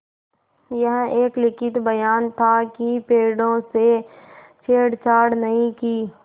यह एक लिखित बयान था कि पेड़ों से छेड़छाड़ नहीं की